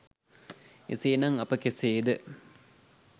එසේ නම් අප කෙසේ ද